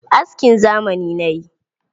Askin zamani na yi.